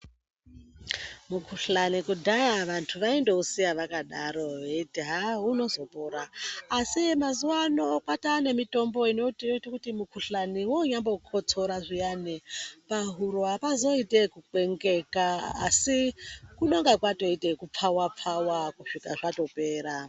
Mukhuhlani kudhaya vantu vaindousiya wakadaro veiti haa unozopora adi mazuwano kwataa nemutombo inotoite kuti mukhuhlani wonyambokotsora zviyani pahuro apazoiti ekubeupeka asi kunenge kwatoite zvekupfawa pfawa kusvika zvatopera.